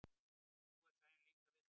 Nú er Sæunn líka viðstödd.